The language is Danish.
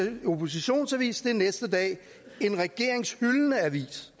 en oppositionsavis er den næste dag en regeringshyldende avis